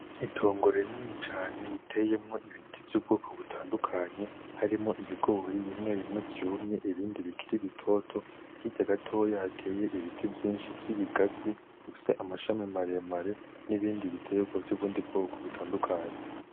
Itongo rinini cane riteyemwo ibiti vy'ubwoko butandukanye, harimwo ibigori bimwe bimwe vyumwye ibindi bikiri bitoto, hirya gatoya hateye ibiti vyinshi vy'ibigazi bifise amashami maremare n'ibindi bitegwa vyubundi bwoko butandukanye.